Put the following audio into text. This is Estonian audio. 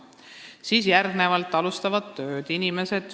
Siis alustatakse tööd.